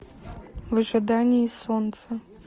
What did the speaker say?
в ожидании солнца